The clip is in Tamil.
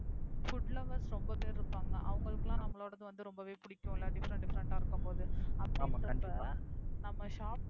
foodlovers ரொம்ப பேரு இருப்பாங்க அவங்களுக்கெல்லாம் ரெம்பவே புடிக்கும் different different ஆ இருக்கும் போது அப்படின்றால் நம்ம shop